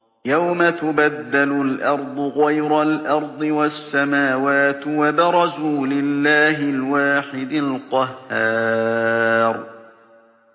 يَوْمَ تُبَدَّلُ الْأَرْضُ غَيْرَ الْأَرْضِ وَالسَّمَاوَاتُ ۖ وَبَرَزُوا لِلَّهِ الْوَاحِدِ الْقَهَّارِ